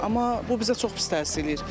Amma bu bizə çox pis təsir edir.